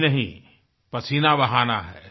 जी नहीं पसीना बहाना है